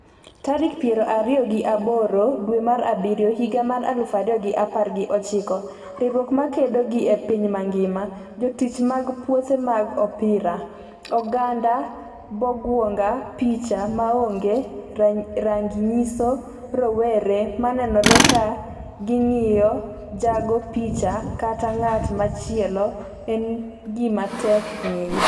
tarik piero ariyo gi aboro dwe mar abiriyo higa mar aluf ariyo gi apar gi ochiko Riwruok makedo gi e piny mangima , jotich mag puothe mag opira, oganda Bongwonga Picha maongee rangi nyiso rowera ma nenore ka gi ng'iyo jago picha kata ng'at machielo, en gima tek ng'eyo.